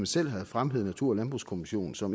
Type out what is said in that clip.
selv har fremhævet natur og landbrugskommissionen som